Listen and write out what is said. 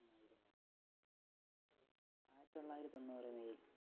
ആയിരത്തി തൊള്ളായിരത്തി തൊണ്ണൂറ് may ൽ